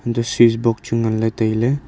eto switch box chu nganley tailey.